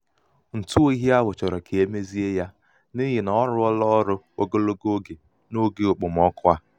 ntụ oyi ahụ chọrọ ka mezie ya n'ihi ọ rụọla ọrụ ogologo oge n'oge okpomọkụ a.